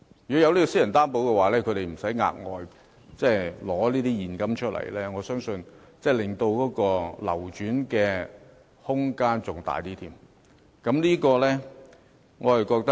如有私人擔保，買家便無需預備額外現金，我相信樓市的流轉空間將會更大。